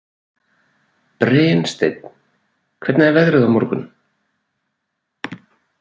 Brynsteinn, hvernig er veðrið á morgun?